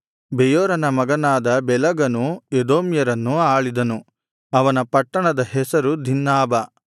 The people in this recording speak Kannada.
ಬೆಯೋರನ ಮಗನಾದ ಬೆಲಗನು ಎದೋಮ್ಯರನ್ನು ಆಳಿದನು ಅವನ ಪಟ್ಟಣದ ಹೆಸರು ದಿನ್ಹಾಬಾ